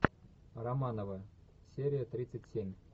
романовы серия тридцать семь